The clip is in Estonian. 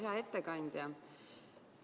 Hea ettekandja!